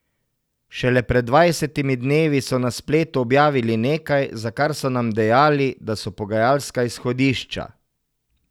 Šele pred dvajsetimi dnevi so na spletu objavili nekaj, za kar so nam dejali, da so pogajalska izhodišča ...